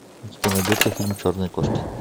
у тебя найдется фильм черные кошки